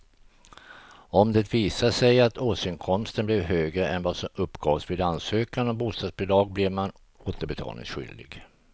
Om det visar sig att årsinkomsten blev högre än vad som uppgavs vid ansökan om bostadsbidrag blir man återbetalningsskyldig.